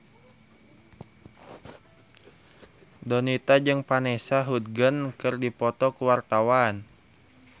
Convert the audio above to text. Donita jeung Vanessa Hudgens keur dipoto ku wartawan